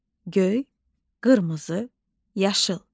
Göy, qırmızı, yaşıl.